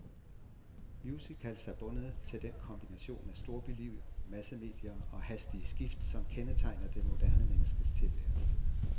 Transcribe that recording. Musicals er bundet til den kombination af storbyliv, massemedier og hastige skift, som kendetegner det moderne menneskes tilværelse.